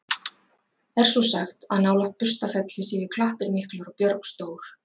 Er svo sagt, að nálægt Burstarfelli séu klappir miklar og björg stór.